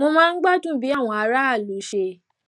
mo máa ń gbádùn bí àwọn aráàlú ṣe